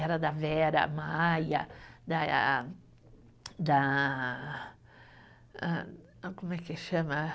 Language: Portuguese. Era da Vera Maia, da da, ah como é que chama?